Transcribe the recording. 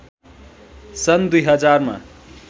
सन् २०००मा